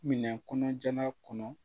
Minɛ kɔnɔjala kɔnɔ